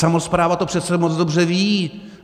Samospráva to přece moc dobře ví.